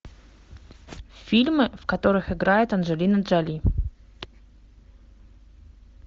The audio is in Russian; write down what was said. фильмы в которых играет анджелина джоли